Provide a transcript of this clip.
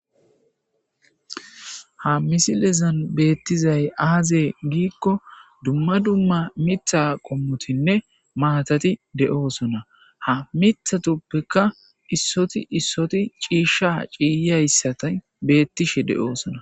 Ha misilezan betizayi aze gikko dumma dumma mitha qommotinne mathatiti dees.ha mithatika issoti issoti cishsha ciyiyageti beettishe dees